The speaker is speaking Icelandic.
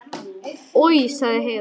Oj, sagði Heiða.